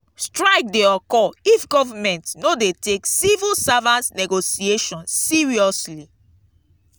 strike de occur if government no de take civil servants negotiation seriously